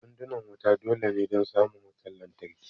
Sandunan wuta dole ne don samun wutan lantarki